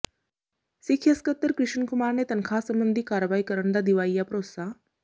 ਸਿੱਖਿਆ ਸਕੱਤਰ ਕਿ੍ਸ਼ਨ ਕੁਮਾਰ ਨੇ ਤਨਖ਼ਾਹ ਸਬੰਧੀ ਕਾਰਵਾਈ ਕਰਨ ਦਾ ਦਿਵਾਇਆ ਭਰੋਸਾ